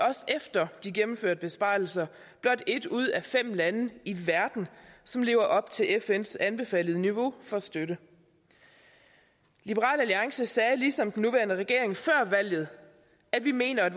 også efter de gennemførte besparelser er et ud af blot fem lande i verden som lever op til fns anbefalede niveau for støtte liberal alliance sagde ligesom den nuværende regering før valget at vi mener at